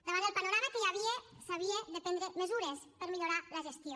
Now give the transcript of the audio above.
davant el panorama que hi havia s’havia de prendre mesures per millorar la gestió